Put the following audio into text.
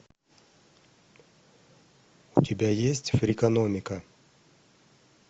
у тебя есть фрикономика